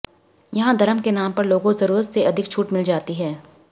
यहां धर्म के नाम पर लोगों जरुरत से अधिक छूट मिल जाती है